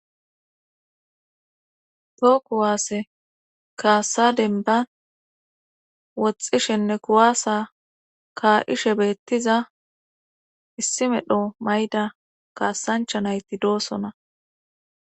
Toho kuwaasse kaasadenban woxxishenne kuwaasa kaa'ishe beettiza issi medho mayda kaasanchanayti doosona.